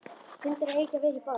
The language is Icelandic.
Hundar eiga ekki að vera í borg.